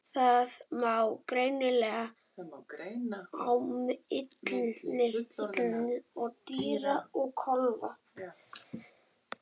Þar má greina á milli fullorðinna dýra og kálfa.